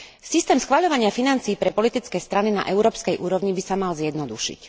Systém schvaľovania financií pre politické strany na európskej úrovni by sa mal zjednodušiť.